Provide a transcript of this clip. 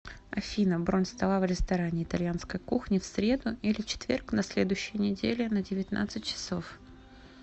афина бронь стола в ресторане итальянской кухни в среду или четверг на следующей неделе на девятнадцать часов